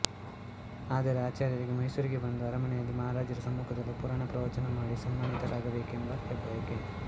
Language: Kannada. ಆದರೆ ಆಚಾರ್ಯರಿಗೆ ಮೈಸೂರಿಗೆ ಬಂದು ಅರಮನೆಯಲ್ಲಿ ಮಹಾರಾಜರ ಸಮ್ಮುಖದಲ್ಲಿ ಪುರಾಣ ಪ್ರವಚನ ಮಾಡಿ ಸನ್ಮಾನಿತರಾಗಬೇಕೆಂಬ ಹೆಬ್ಬಯಕೆ